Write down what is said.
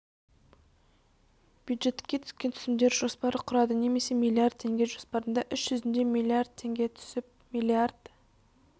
бюджетке түскен түсімдер жоспары құрады немесе миллиард теңге жоспарында іс жүзінде миллиард теңге түсіп миллиард